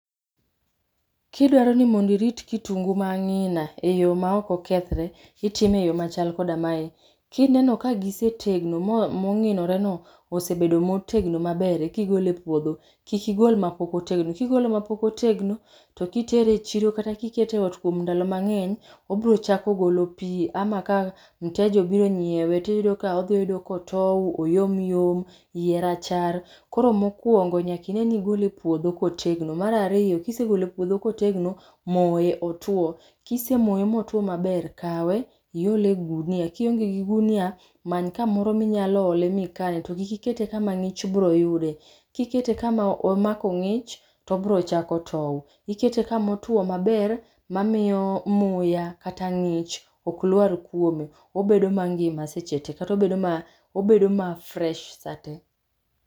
Kidwaro ni mondo irit kitungu ma ang'ina e yo ma okokethre, itime e yo machal koda mae. Kineno ka gisetegno ma mong'inore no osebedo motegno maber, eka igole epuodho. Kik igol ma pok otegno. Kigolo ma pok otegno, to kitere e chiro kata kikete e ot kuom ndalo mang'eny, obiro chako golo pi, ama ka mteja obiro nyiewe, tiyudo ka obedo kotow, oyomyom, iye rachar. Koro mokuongo nyaka ing'eni igole puodho kotegno. Mar ariyo, kisegole puodho kotegno, moye otwo. Kisemoye motwo maber, kawe iole gunia. Kionge gi gunia, many kamoro minyalo ole mikaye to kik ikete kama ng'ich biro yude. Kikete kama omako ng'ich, tobiro chako tow. Ikete kama otwo maber mamiyo muya kata ng'ich oklwar kuome. Obedo mangima seche te, kata obedo ma fresh seche te.